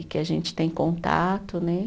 E que a gente tem contato, né?